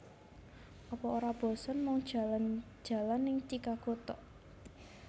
Apa ora bosen mung jalan jalan ning Chichago tok